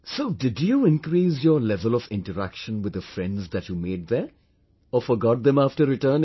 So, did you increase your level of interaction with the friends that you made there ...or forgot them after returning